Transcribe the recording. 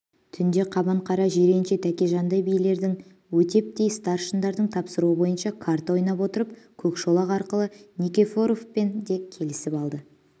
түнде қабанқара жиренше тәкежандай билердің өтептей старшындардың тапсыруы бойынша қарта ойнап отырып көкшолақ арқылы никифоровпен де келісіп алды